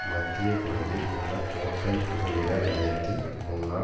மத்திய கொழும்பில் உள்ள கோட்டை புகையிர நிலையத்தின் முன்னால்